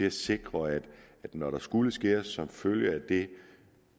at sikre at når der skulle skæres som følge af det